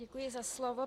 Děkuji za slovo.